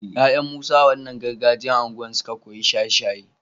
yayan musa a wannan gargajiyar unguwar suka koyi shaye shaye